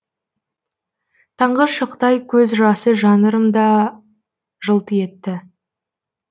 таңғы шықтай көз жасы жанырымда жылт етті